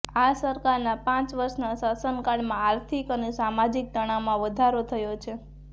આ સરકારનાં પાંચ વર્ષનાં શાસનકાળમાં આર્થિક અને સામાજિક તણાવમાં વધારો થયો છે